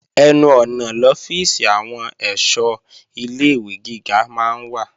Ẹnu ọ̀nà lọ́fíìsì àwọn èṣọ́ ilé-ìwé gíga máa ń wà